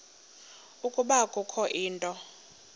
ukuba kukho into